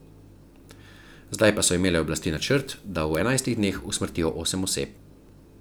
Zdaj pa so imele oblasti načrt, da v enajstih dneh usmrtijo osem oseb.